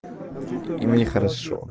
ему не хорошо